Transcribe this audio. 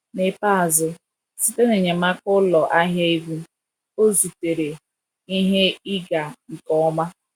N’ikpeazụ, site na enyemaka ụlọ ahịa egwu, ọ zutere ihe ịga nke ọma.